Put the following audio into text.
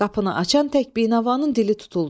Qapını açan tək Binavanın dili tutuldu.